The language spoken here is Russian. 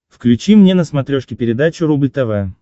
включи мне на смотрешке передачу рубль тв